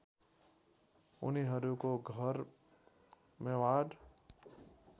उनीहरूको घर मेवाड